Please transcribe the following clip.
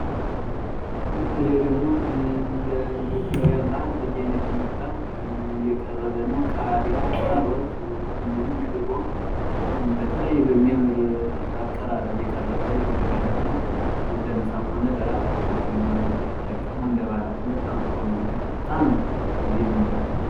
ይህ ደግሞ እንደ ኢትዮጵያውያን ባህል በየአይነት የሚባል የቀረበ ነው። ቃሪያ፣ ካሮት፣ እንዲሁም ሽሮ በተለያየ በሚያምር አቀራርበ የቀረበ የምግብ አይነት ነው። ለምሳም ሆነ ለራት የምንጠቀመው በጣም የሚያምር ምግብ ነው።